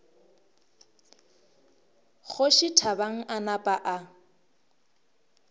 kgoši thabang a napa a